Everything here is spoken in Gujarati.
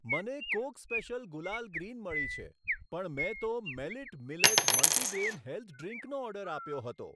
મને કોક સ્પેશિયલ ગુલાલ ગ્રીન મળી છે, પણ મેં તો મેલિટ મિલેટ મલ્ટીગ્રેઇન હેલ્થ ડ્રીંકનો ઓર્ડર આપ્યો હતો.